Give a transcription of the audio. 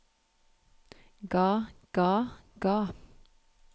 ga ga ga